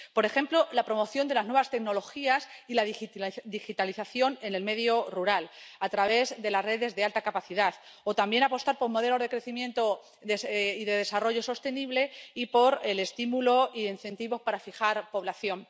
Por ejemplo, la promoción de las nuevas tecnologías y la digitalización en el medio rural a través de las redes de alta capacidad, o también apostar por modelos de crecimiento y de desarrollo sostenibles y por el estímulo e incentivos para fijar población.